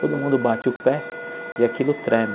Todo mundo bate o pé e aquilo treme.